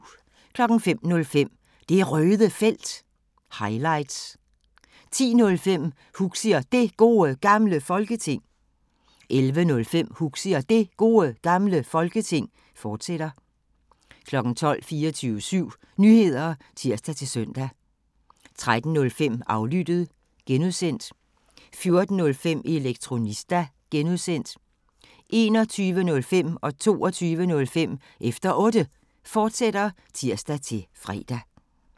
05:05: Det Røde Felt – highlights 10:05: Huxi og Det Gode Gamle Folketing 11:05: Huxi og Det Gode Gamle Folketing, fortsat 12:00: 24syv Nyheder (tir-søn) 13:05: Aflyttet (G) 14:05: Elektronista (G) 21:05: Efter Otte, fortsat (tir-fre) 22:05: Efter Otte, fortsat (tir-fre)